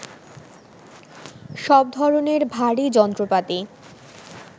সব ধরণের ভারী যন্ত্রপাতি